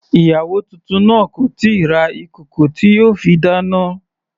Ìyàwó titun náà kò tíì ra ìkòkò tí yóò fi dáná.